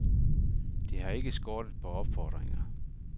Det har ikke skortet på opfordringer.